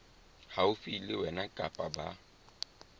haufi le wena kapa ba